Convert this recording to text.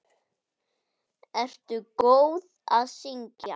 Ertu góð í að syngja?